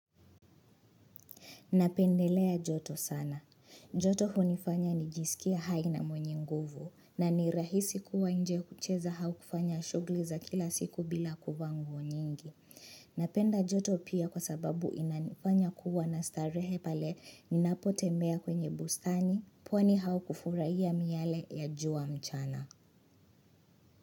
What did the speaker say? Napendelea joto sana. Joto hunifanya nijisikia hai na mwenye nguvu na ni rahisi kuwa inje kucheza au kufanya shughuli za kila siku bila kuvaa nguo nyingi. Napenda joto pia kwa sababu inanifanya kuwa na starehe pale ninapo tembea kwenye bustani pwani au kufurahiya miale ya jua mchana.